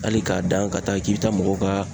Ali k'a dan ka taa k'i bi taa mɔgɔw ka